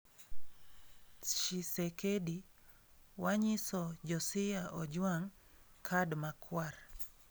Tshisekedi: Wanyiso Josia Ojwang 'kad makwar'